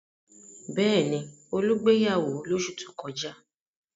Bẹ́ẹ̀ ni, Olú gbéyàwó lóṣù tó kọjá.